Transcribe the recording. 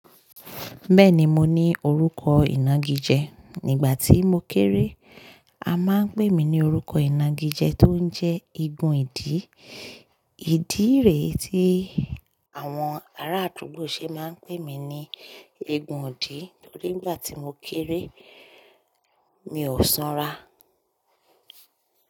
Been mo ní orúkọ ìnagijẹ nígbà tó mo kéré a máa ń pè mí ní orúkọ ìnagijẹ tó ń jẹ́ eegun ìdí. Ìdí rẹ̀ tí àwọn aradugbo ṣe máa ń pè mí ní igun ìdí nígbà tí mo kéré mi ò sanra.